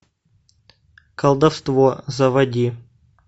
колдовство заводи